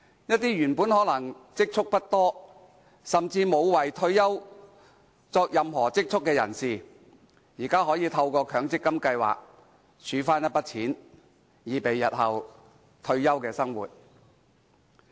一些原本可能積蓄不多，甚至沒有為退休而儲蓄的人士，現在可以透過強積金計劃儲蓄一筆金錢，以備日後退休生活之用。